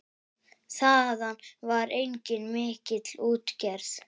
Þaðan var einnig mikil útgerð.